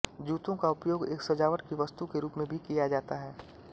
जूतों का उपयोग एक सजावट की वस्तु के रूप में भी किया जाता है